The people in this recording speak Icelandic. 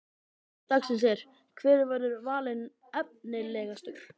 Spurning dagsins er: Hver verður valinn efnilegastur?